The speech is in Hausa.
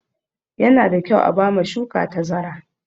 Yana da kyau a ba ma shuka tazara.